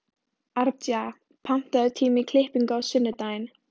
Arja, pantaðu tíma í klippingu á sunnudaginn.